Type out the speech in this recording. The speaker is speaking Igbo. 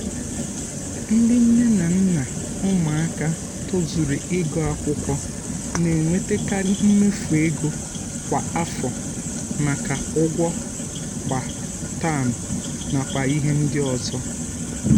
ndị nne na nna ụmụaka tozuru ịgụ akwụkwọ na-enwetekari mmefu ego kwa um afọ maka ụgwọ kwa um taam nakwa ihe ndị ọzọ